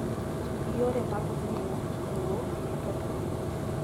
Ti gi yore mag miyo lowo kik keth pi